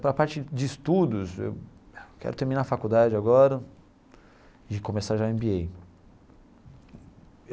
Para a parte de estudos, eu quero terminar a faculdade agora e começar já Em BÍ Êí.